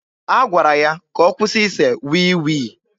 A gwara ya ka ọ kwụsị ise wii wii.